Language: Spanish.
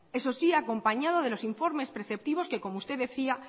eso sí acompañado de los informes preceptivos que como usted decía